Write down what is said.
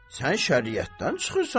Sən şəriətdən çıxırsan.